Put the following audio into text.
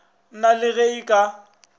na le ge e ka